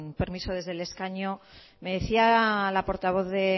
permiso desde el escaño me decía la portavoz de